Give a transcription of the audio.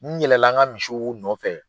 N yɛlɛla an ka misiw nɔfɛ,